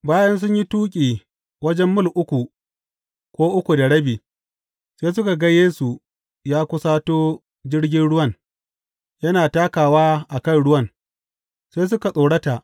Bayan sun yi tuƙi wajen mil uku ko uku da rabi, sai suka ga Yesu ya kusato jirgin ruwan, yana takawa a kan ruwan; sai suka tsorata.